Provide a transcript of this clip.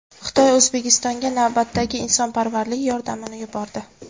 Xitoy O‘zbekistonga navbatdagi insonparvarlik yordamini yubordi.